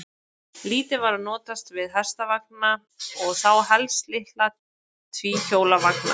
Lítið var notast við hestvagna og þá helst litla tvíhjóla vagna.